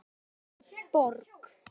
Óskar Borg.